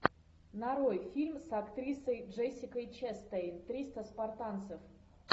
нарой фильм с актрисой джессикой честейн триста спартанцев